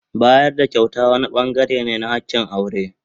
Bayar da kyauta wani bangare ne na hakin aure.